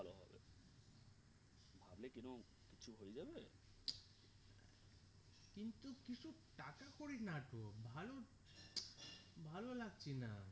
করি নাটক ভালো ভালো লাগছে না